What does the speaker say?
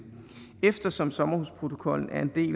eftersom sommerhusprotokollen er en del